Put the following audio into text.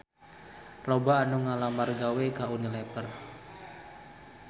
Loba anu ngalamar gawe ka Unilever